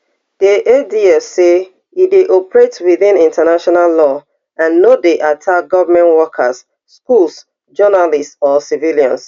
di adf say e dey operate within international law and no dey attack government workers schools journalists or civilians